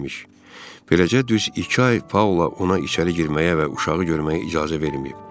Beləcə düz iki ay Paula ona içəri girməyə və uşağı görməyə icazə verməyib.